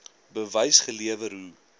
bewys gelewer hoe